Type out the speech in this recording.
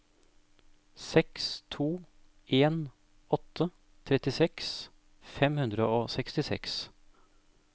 seks to en åtte trettiseks fem hundre og sekstiseks